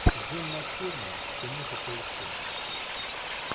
джон мактирнан киноху поищи